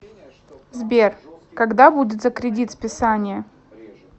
сбер когда будет за кредит списание